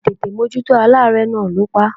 Àìtètè mójútó aláárẹ̀ náà ló pa á.